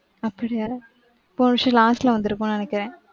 அப்படியா. போன வருஷம் last ல வந்துருக்கும்னு நினைக்கிறன்.